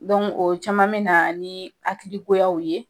o caman mɛ na ni hakili goyaw ye.